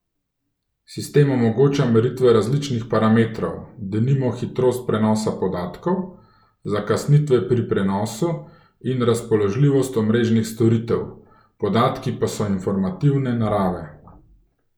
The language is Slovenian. Sistem omogoča meritve različnih parametrov, denimo hitrost prenosa podatkov, zakasnitve pri prenosu in razpoložljivost omrežnih storitev, podatki pa so informativne narave.